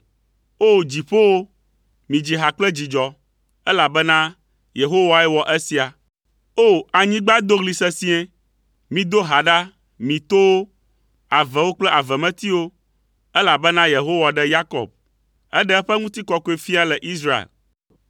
O! Dziƒowo, midzi ha kple dzidzɔ, elabena Yehowae wɔ esia. O! Anyigba do ɣli sesĩe. Mido ha ɖa, mi towo, avewo kple avemetiwo, elabena Yehowa ɖe Yakob. Eɖe eƒe Ŋutikɔkɔefia le Israel.